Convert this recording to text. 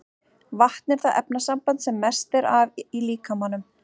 Vatn er það efnasamband sem mest er af í líkamanum.